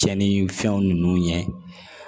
Cɛn ni fɛnw ɲɛ